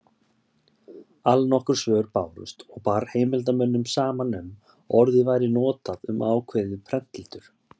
Allnokkur svör bárust og bar heimildarmönnum saman um að orðið væri notað um ákveðið prentletur.